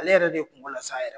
Ale yɛrɛ de kungo lase a yɛrɛ ma.